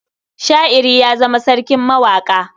Sha'iri ya zama sarkin mawaƙa.